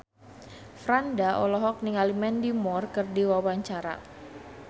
Franda olohok ningali Mandy Moore keur diwawancara